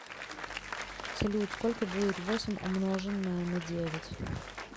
салют сколько будет восемь умноженное на девять